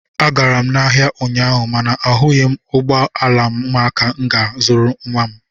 Agara m ahịa ụnyaahụ mana ahụghị m ụgbọ ala ụmụaka nke m ga-azụrụ nwa m